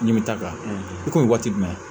N'i bi taa ka i ko waati jumɛn